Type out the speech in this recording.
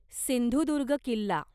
Sindhudurg Killa